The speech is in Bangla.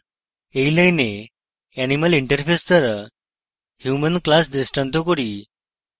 in line animal interface দ্বারা human class দৃষ্টান্ত করি